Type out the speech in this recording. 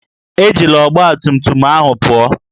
Ejila ọgbatumtum ahụ pụọ!